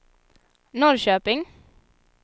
Norrköping